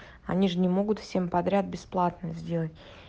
они же не могут всем подряд бесплатно сделать